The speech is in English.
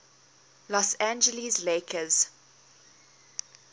los angeles lakers